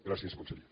gràcies conseller